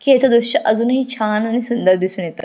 कि ह्याच दृश्य अजुन ही छान आणि सुंदर दिसुन येत.